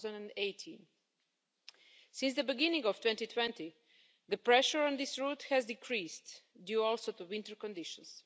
2018. Since the beginning of 2020, the pressure on this route has decreased, due also to winter conditions.